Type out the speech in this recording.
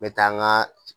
N bɛ taa n ka